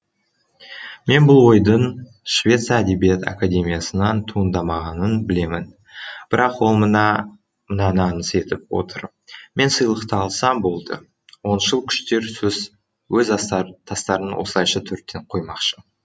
мен бұл ойдың швеция әдебиет академиясынан туындамағанын білемін бірақ ол мынаны аңыс етіп отыр мен сыйлықты алсам болды оңшыл күштер өз тастарын осылайша төрттен қоймақшы